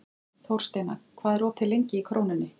Þórsteina, hvað er opið lengi í Krónunni?